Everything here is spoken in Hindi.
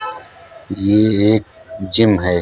ये एक जिम है।